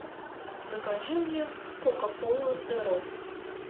закажи мне кока кола зеро